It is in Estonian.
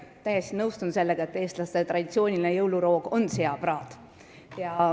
Ma täiesti nõustun sellega, et eestlaste traditsiooniline jõuluroog on seapraad.